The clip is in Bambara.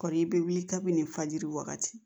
Kɔɔri bɛ wuli kabini fajiri wagati